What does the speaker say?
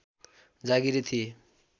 जागीरे थिए